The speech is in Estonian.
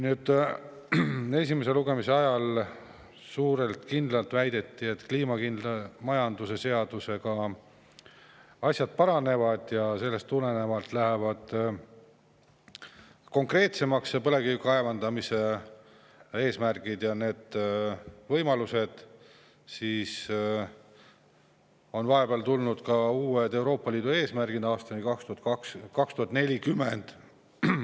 Esimese lugemise ajal väideti, et kliimakindla majanduse seadusega asjad paranevad ning sellest tulenevalt lähevad põlevkivi kaevandamise eesmärgid konkreetsemaks ja võimalused, aga vahepeal on tulnud uued Euroopa Liidu eesmärgid aastani 2040.